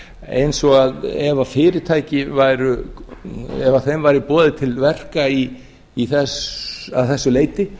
eins og að ef fyrirtækjum væri boðið til verka að þessu leyti